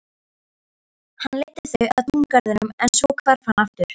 Hann leiddi þau að túngarðinum en svo hvarf hann aftur.